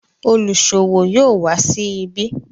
oluṣowo yóò wa sí ibi.